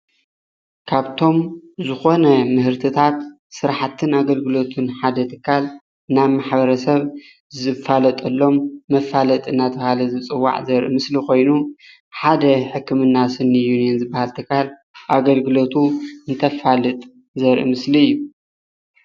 ካብቶም ዝኮነ ምህርትታት ስራሕቲና ሓደ ትካል ናብ ማሕበረ ሰብ ዝፋለጠሎም መፋለሊጢ እንደተባሃለ ዘርኢ ምስሎ ኮይኑ ሓደ ሕክምና ስኒ ዩኒን ዝባሃል ኣገልግለቱ እንተፋልጥ ዘርኢ ምስሊ እዩ፡፡